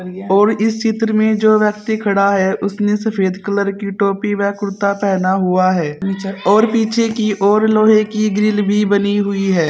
और इस चित्र में जो व्यक्ति खड़ा है उसने सफेद कलर की टोपी व कुर्ता पहना हुआ है और पीछे की ओर लोहे की ग्रिल भी बनी हुई है।